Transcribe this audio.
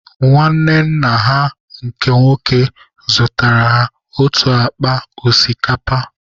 Nwanne nna ha nke nwoke zụtara ha otu akpa osikapa.